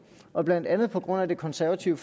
og blandt andet på grund af det konservative